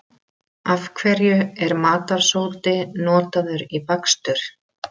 Af hverju er matarsódi notaður í bakstur?